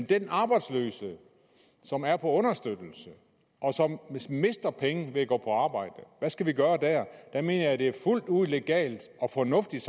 den arbejdsløse som er på understøttelse og som mister penge ved at gå på arbejde der mener jeg at det er fuldt ud legalt og fornuftigt